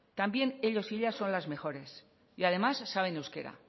también ellos y ellas son las mejores y además saben euskera